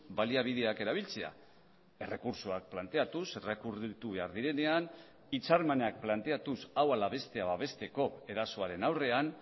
baliabideak erabiltzea errekurtsoak planteatuz errekurritu behar direnean hitzarmenak planteatuz hau ala bestea babesteko erasoaren aurrean